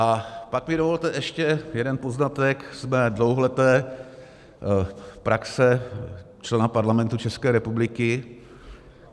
A pak mi dovolte ještě jeden poznatek z mé dlouholeté praxe člena Parlamentu České republiky.